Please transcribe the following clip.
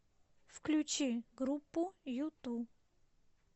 включи группу юту